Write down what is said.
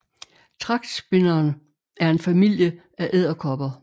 Tragtspinderen er en familie af edderkopper